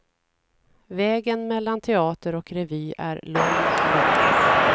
Vägen mellan teater och revy är lång, lång.